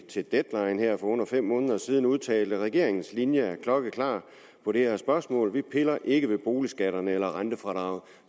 til deadline her for under fem måneder siden udtalte regeringens linje er klokkeklar på det her spørgsmål vi piller ikke ved boligskatterne eller rentefradraget